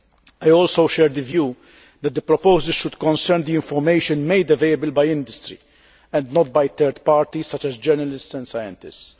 I also share the view that the proposals should concern the information made available by industry and not by third parties such as journalists and scientists.